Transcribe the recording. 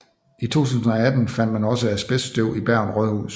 I 2018 fandt man også asbeststøv i Bergen rådhus